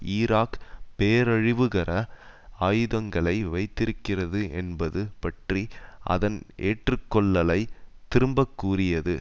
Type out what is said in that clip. Iraq பேரழிவுகர ஆயுதங்களை வைத்திருக்கிறது என்பது பற்றி அதன் ஏற்று கொள்ளலை திரும்பக் கூறியது